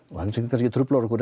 sem truflar okkur